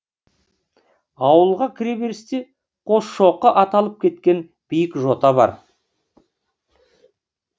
ауылға кіреберісте қосшоқы аталып кеткен биік жота бар